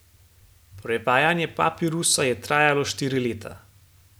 Prevajanje papirusa je trajalo štiri leta.